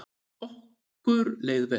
Okkur leið vel.